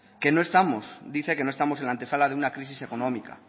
que no estamos dice que no estamos en la antesala de una crisis económica